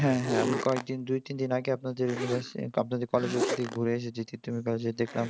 হ্যাঁ হ্যাঁ আমি কয়েকদিন দুই তিন দিন আগে আপনাদের university আপনাদের college এর ওদিক থেকে ঘুরে এসেছি। তিতুমির কলেজের উপর দিয়ে ঘুরে এসেছি। তিতুমির কলেজে দেখলাম।